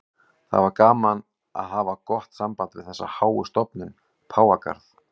Það er gaman að hafa gott samband við þessa háu stofnun, Páfagarð.